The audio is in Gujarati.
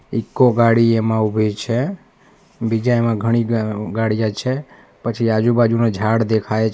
ઈકો ગાડી એમાં ઉભી છે બીજા એમાં ઘણી ગા ગાડીયા છે પછી આજુબાજુનાં ઝાડ દેખાય છે.